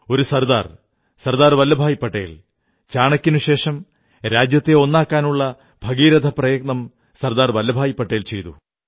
ഒരു സർദാർ സർദാർ വല്ലഭ് ഭായി പട്ടേൽ ചാണക്യനുശേഷം രാജ്യത്തെ ഒന്നാക്കാനുള്ള ഭഗീരഥ പ്രയത്നം സർദാർ വല്ലഭ് ഭായി പട്ടേൽ ചെയ്തു